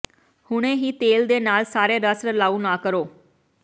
ਹੁਣੇ ਹੀ ਤੇਲ ਦੇ ਨਾਲ ਸਾਰੇ ਰਸ ਰਲਾਉ ਨਾ ਕਰੋ